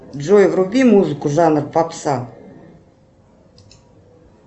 джой вруби музыку жанр попса